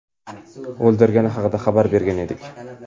o‘ldirgani haqida xabar bergan edik.